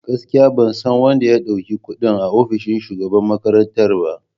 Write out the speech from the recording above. Gaskiya! Ban san wanda ya dauki kudin a ofishin shugaban makarantar ba.